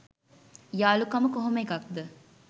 යාළුකම කොහොම එකක්‌ද